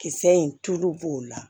Kisɛ in tulu b'o la